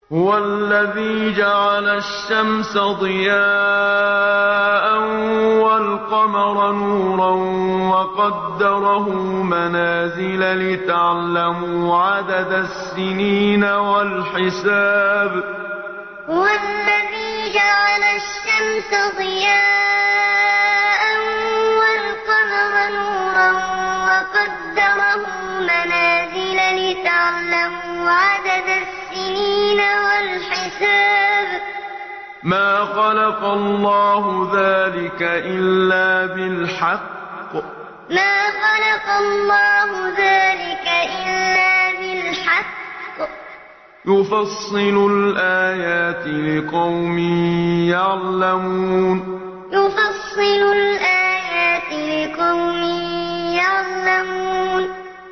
هُوَ الَّذِي جَعَلَ الشَّمْسَ ضِيَاءً وَالْقَمَرَ نُورًا وَقَدَّرَهُ مَنَازِلَ لِتَعْلَمُوا عَدَدَ السِّنِينَ وَالْحِسَابَ ۚ مَا خَلَقَ اللَّهُ ذَٰلِكَ إِلَّا بِالْحَقِّ ۚ يُفَصِّلُ الْآيَاتِ لِقَوْمٍ يَعْلَمُونَ هُوَ الَّذِي جَعَلَ الشَّمْسَ ضِيَاءً وَالْقَمَرَ نُورًا وَقَدَّرَهُ مَنَازِلَ لِتَعْلَمُوا عَدَدَ السِّنِينَ وَالْحِسَابَ ۚ مَا خَلَقَ اللَّهُ ذَٰلِكَ إِلَّا بِالْحَقِّ ۚ يُفَصِّلُ الْآيَاتِ لِقَوْمٍ يَعْلَمُونَ